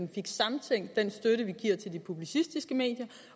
vi fik samtænkt den støtte vi giver til de publicistiske medier